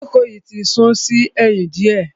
Ìjókòó yìí ti sún sí ẹ̀yìn diẹ.